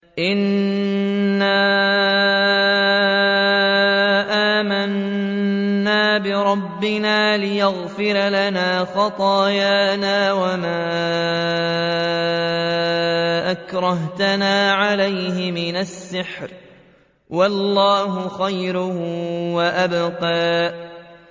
إِنَّا آمَنَّا بِرَبِّنَا لِيَغْفِرَ لَنَا خَطَايَانَا وَمَا أَكْرَهْتَنَا عَلَيْهِ مِنَ السِّحْرِ ۗ وَاللَّهُ خَيْرٌ وَأَبْقَىٰ